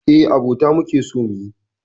Eh, abota muke so muyi.